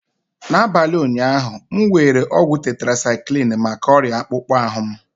N'abalị ụnyaahụ, m were ọgwụ tetracyclini maka ọrịa akpụkpọ ahụ m.